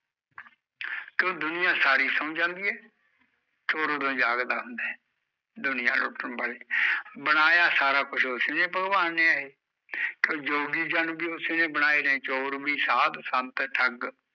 ਜਦੋਂ ਦੁਨੀਆ ਸਾਰੀ ਸੋਂ ਜਾਂਦੀ ਐ ਚੋਰ ਉਦੋਂ ਜਾਗਦਾ ਹੁੰਦਾ ਐ ਦੁਨੀਆ ਲੁੱਟਣ ਮਾਰੇ, ਬਣਾਇਆ ਸਾਰਾ ਕੁਜ ਉਸਨੇ ਭਗਵਾਨ ਨੇ ਐ ਇਹ ਪਰ ਜੋਗੀ ਜਨ ਵੀ ਓਸੇ ਨੇ ਬਣਾਏ ਨੇ, ਚੋਰ ਵੀ, ਸਾਧ ਵੀ, ਸੰਤ, ਠੱਗ